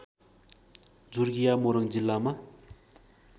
झुर्किया मोरङ जिल्लामा